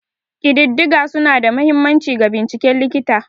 Ƙididdiga suna da mahimmanci ga binciken likita.